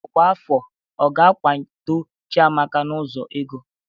Ọkwa afọ a ga-akwado Chiamaka n'ụzọ ego?